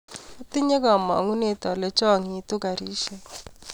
atinye kamangunet ale changitu garishek